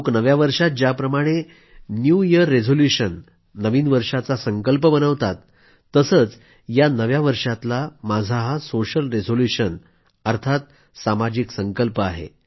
लोक नव्या वर्षात ज्याप्रमाणे न्यू इयर रिझोल्यूशन नवीन वर्षाचा संकल्प बनवतात तसंच या नव्या वर्षातला माझा हा सोशल रिझोल्यूशन सामाजिक संकल्प आहे